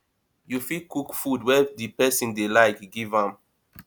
you fit cook food wey di person dey like give am